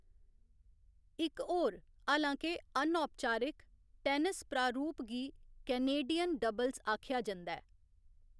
इक्क होर, हालांके अनौपचारक, टैनिस प्रारूप गी कैनेडियन डबल्स आखेआ जंदा ऐ।